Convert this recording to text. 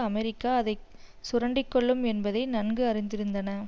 America அதை சுரண்டிக்கொள்ளும் என்பதை நன்கு அறிந்திருந்தன